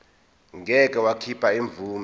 ngeke wakhipha imvume